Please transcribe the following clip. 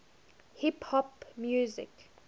hip hop music